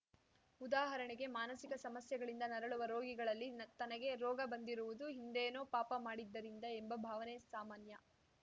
ಉದಾಹರಣೆಗೆ ಮಾನಸಿಕ ಸಮಸ್ಯೆಗಳಿಂದ ನರಳುವ ರೋಗಿಗಳಲ್ಲಿ ನ ತನಗೆ ರೋಗ ಬಂದಿರುವುದು ಹಿಂದೇನೋ ಪಾಪ ಮಾಡಿದ್ದರಿಂದ ಎಂಬ ಭಾವನೆ ಸಾಮಾನ್ಯ